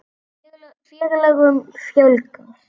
Félögum fjölgar